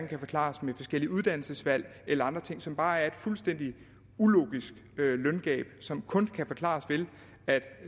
kan forklares med forskellige uddannelsesvalg eller andre ting men som bare er et fuldstændig ulogisk løngab som kun kan forklares ved